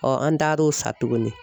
an taar'o sa tuguni.